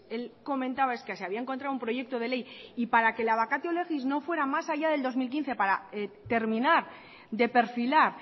él comentaba es que se había encontrado un proyecto de ley y para que la vacatio legis no fuera más allá del dos mil quince para terminar de perfilar